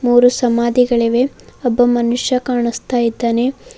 ಮೂರು ಸಮಾಧಿಗಳಿವೆ ಒಬ್ಬ ಮನುಷ್ಯ ಕಾಣುಸ್ತಾಯಿದಾನೆ.